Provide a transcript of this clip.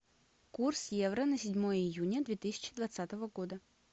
курс евро на седьмое июня две тысячи двадцатого года